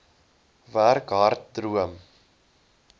werk hard droom